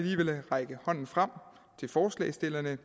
række hånden frem til forslagsstillerne